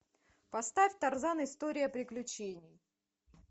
поставь тарзан история приключений